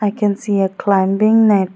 i can see a climbing net.